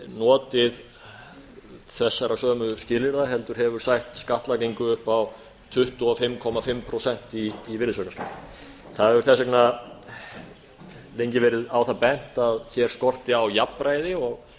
notið þessara sömu skilyrða heldur hefur sætt skattlagningu upp á tuttugu og fimm og hálft prósent í virðisaukaskatti það hefur þess vegar lengi verið á það bent að hér skorti á jafnræði og